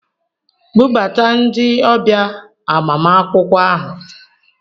Bubata ndi ọbịa agbamakwụkwọ ahụ!